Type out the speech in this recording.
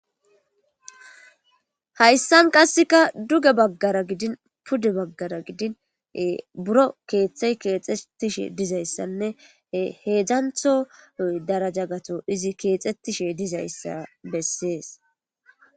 Hayssan qasekka duuge baggara gidin puude baggara gidin ee buro kththey kexetishe dizayssanne hedzdzanththo darajja gaththo izi kexetishe dizayssa besses